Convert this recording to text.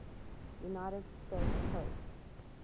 united states coast